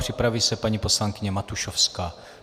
Připraví se paní poslankyně Matušovská.